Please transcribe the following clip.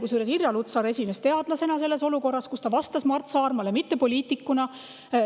Kusjuures Irja Lutsar esines teadlasena selles olukorras, kui ta vastas Mart Saarmale, mitte poliitikuna.